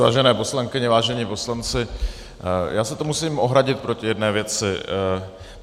Vážené poslankyně, vážení poslanci, já se tu musím ohradit proti jedné věci.